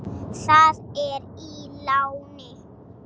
Það er í láni.